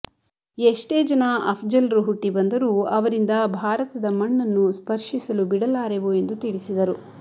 ಎಷ್ಟೇ ಜನ ಅಫ್ಜಲ್ರು ಹುಟ್ಟಿ ಬಂದರೂ ಅವರಿಂದ ಭಾರತದ ಮಣ್ಣನ್ನು ಸ್ಪರ್ಶಿಸಲು ಬಿಡಲಾರೆವು ಎಂದು ತಿಳಿಸಿದರು